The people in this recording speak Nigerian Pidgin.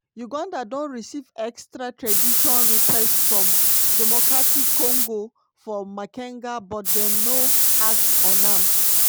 uganda don receive extradition request from democratic congo for makenga but dem no act on am.